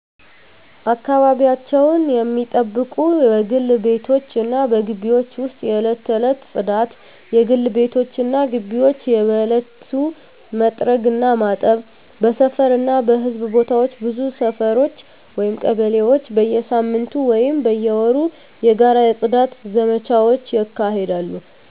አካባቢያቸውን ሚጠብቁት በግል ቤቶች እና በግቢዎች ውስጥ የዕለት ተዕለት ጽዳት: የግል ቤቶች እና ግቢዎች በየዕለቱ መጥረግ እና ማጠብ። በሰፈር እና በሕዝብ ቦታዎች ብዙ ሰፈሮች (ቀበሌዎች) በየሳምንቱ ወይም በየወሩ የጋራ የጽዳት ዘመቻዎች ያካሂዳሉ።